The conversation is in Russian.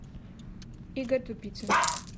игорь тупицын